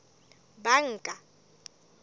banka